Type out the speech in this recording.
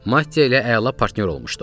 Mattiya ilə əla partnyor olmuşduq.